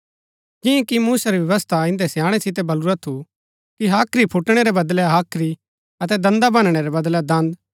जियां कि मूसा री व्यवस्था इन्दै स्याणै सितै बलुरा थु कि हाख्री फूटैणै रै बदलै हाख्री अतै दन्दा भनणैं रै बदलै दन्द